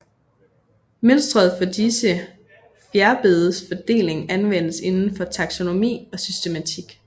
Mønstret for disse fjerbedes fordeling anvendes indenfor taksonomi og systematik